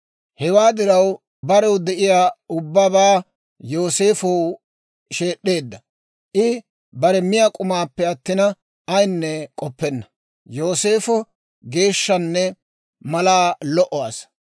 Hewaa diraw barew de'iyaa ubbabaa Yooseefow sheed'd'eedda; I bare miyaa k'umaappe attina, ayinne k'oppenna. Yooseefo geesanchanne malaa lo"o asaa.